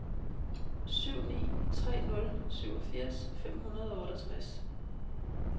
syv ni tre nul syvogfirs fem hundrede og otteogtres